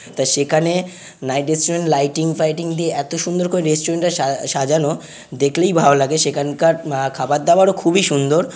তা সেখানে night restaurant lighting fighting দিয়ে এত সুন্দর করে রেস্টুরেন্ট টা সাজা-সাজানো দেখলেই ভালো লাগে সেখানকার আ-খাবার দাবার খুবই সুন্দর।